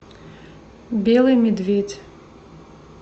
белый медведь